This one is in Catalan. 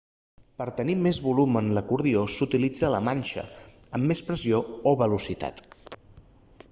per tenir més volum en l'acordió s'utilitza la manxa amb més pressió o velocitat